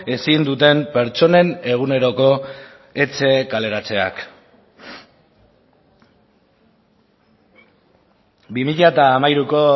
ezin duten pertsonen eguneroko etxe kaleratzeak bi mila hamairuko